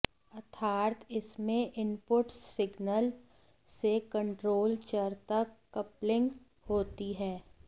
अर्थात इसमें input signal से कंट्रोल चर तक कपलिंग होती है